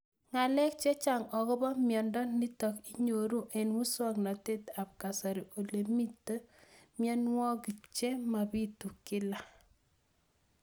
Ng'alek chechang' akopo miondo nitok inyoru eng' muswog'natet ab kasari ole mito mianwek che mapitu kila